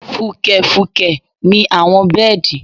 Fùkẹ̀fùkẹ̀ ni àwọn bẹ́ẹ̀dì